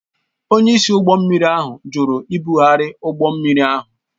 Onyeisi ụgbọ mmiri ahụ jụrụ ibugharị ụgbọ mmiri ahụ